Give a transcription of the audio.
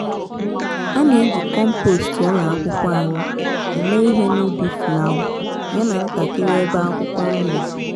ana eji compost ụlọ akwụkwọ anyị eme ihe n'ubi fulawa ya na ntakiri ebe akwụkwọ nri